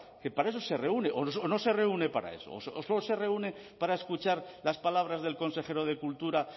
que para eso se reúne o no se reúne para eso o solo se reúne para escuchar las palabras del consejero de cultura